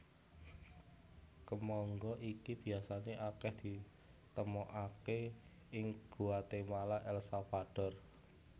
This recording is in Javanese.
Kemangga iki biasané akèh ditemokaké ing Guatemala El Salvador